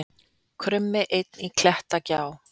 Krummi einn í klettagjá